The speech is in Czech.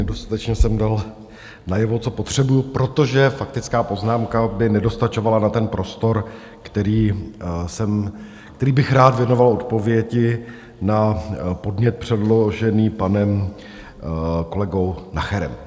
Nedostatečně jsem dal najevo, co potřebuji, protože faktická poznámka by nedostačovala na ten prostor, který bych rád věnoval odpovědi na podnět předložený panem kolegou Nacherem.